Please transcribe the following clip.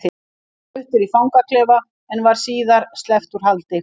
Hann var fluttur í fangaklefa en var síðar sleppt úr haldi.